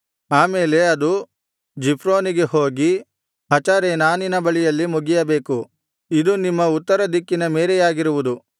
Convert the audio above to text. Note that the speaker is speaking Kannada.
ಆ ಮೇಲೆ ಅದು ಜಿಫ್ರೋನಿಗೆ ಹೋಗಿ ಹಚರೇನಾನಿನ ಬಳಿಯಲ್ಲಿ ಮುಗಿಯಬೇಕು ಇದು ನಿಮ್ಮ ಉತ್ತರ ದಿಕ್ಕಿನ ಮೇರೆಯಾಗಿರುವುದು